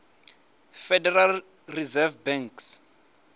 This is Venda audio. federal reserve banks